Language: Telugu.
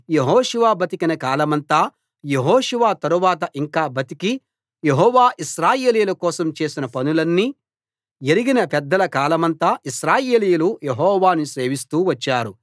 యెహోషువ బతికిన కాలమంతా యెహోషువ తరువాత యింకా బతికి యెహోవా ఇశ్రాయేలీయుల కోసం చేసిన పనులన్నీ ఎరిగిన పెద్దల కాలమంతా ఇశ్రాయేలీయులు యెహోవాను సేవిస్తూ వచ్చారు